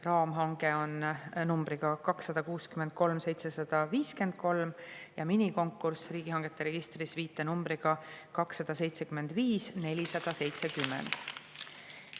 Raamhange on numbriga 263753 ja minikonkurss on riigihangete registris viitenumbriga 275470.